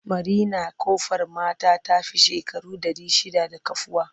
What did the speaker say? Marinar Ƙofar mata ta fi shekaru ɗari shidda da kafuwa.